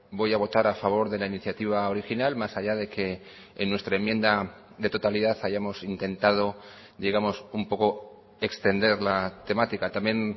voy a votar a favor de la iniciativa original más allá de que en nuestra enmienda de totalidad hayamos intentado digamos un poco extender la temática también